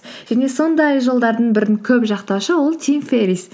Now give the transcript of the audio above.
және сондай жолдардың бірін көп жақтаушы ол тим феррис